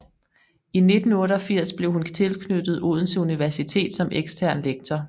I 1988 blev hun tilknyttet Odense Universitet som ekstern lektor